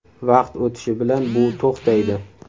Vaqt o‘tishi bilan bu to‘xtaydi.